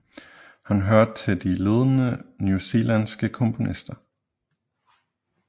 Han hører til de ledende newzelanske komponister